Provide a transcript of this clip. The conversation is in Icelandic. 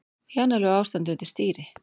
Í annarlegu ástandi undir stýri